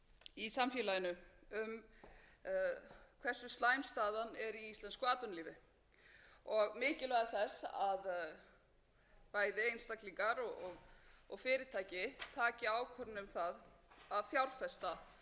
í samfélaginu um hversu slæm staðan er í íslensku atvinnulífi og mikilvægi þess að bæði einstaklingar og fyrirtæki taki ákvörðun um það að fjárfesta upp á nýtt þær tölur sem við